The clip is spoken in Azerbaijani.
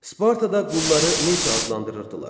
Spartada qulları necə adlandırırdılar?